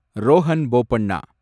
Rohan Bopanna